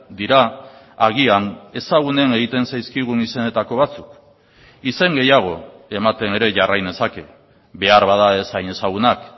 dira agian ezagunen egiten zaizkigun izenetako batzuk izen gehiago ematen ere jarrai nezake beharbada ez hain ezagunak